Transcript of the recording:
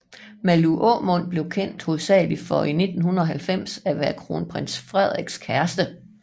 Malou Aamund blev kendt hovedsageligt for i 1990 at være kronprins Frederiks kæreste